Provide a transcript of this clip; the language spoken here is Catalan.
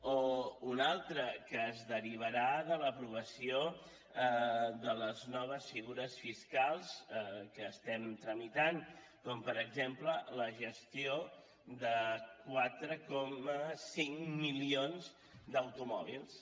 o un altre que es derivarà de l’aprovació de les noves figures fiscals que estem tramitant com per exemple la gestió de quatre coma cinc milions d’automòbils